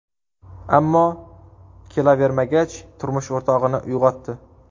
Ammo kelavermagach, turmush o‘rtog‘ini uyg‘otdi.